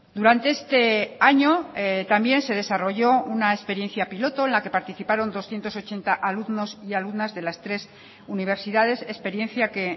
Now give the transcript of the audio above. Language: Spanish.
durante este año también se desarrolló una experiencia piloto en la que participaron doscientos ochenta alumnos y alumnas de las tres universidades experiencia que